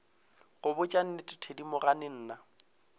go botša nnete thedimogane nna